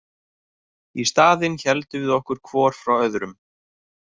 Í staðinn héldum við okkur hvor frá öðrum.